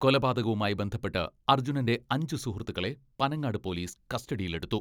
കൊലപാതകവുമായി ബന്ധപ്പെട്ട് അർജുനന്റെ അഞ്ചു സുഹൃത്തുക്കളെ പനങ്ങാട് പോലീസ് കസ്റ്റഡിയിലെടുത്തു.